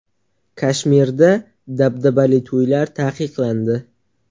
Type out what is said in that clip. Kashmirda dabdabali to‘ylar taqiqlandi.